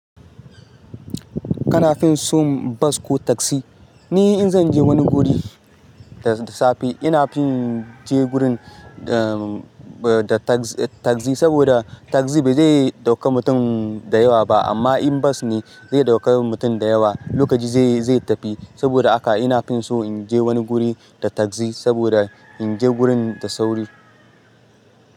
Kana fin so bas ko taksi? Ni in zan je wani guri da safe, ina fin je gurin da, da tagzi, saboda tagzi ba zai dauka mutum da yawa ba. Amma in bas ne zai dauka mutum da yawa, lokaci zai, zai tafi. Saboda haka ina fin so in je wani guri da tagzi saboda in je gurin da sauri.